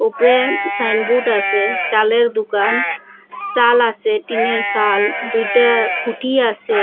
উপরে সাইনবোর্ড আসে চালের দুকান চাল আসে টিনের সাল দুইটা খুঁটি আসে।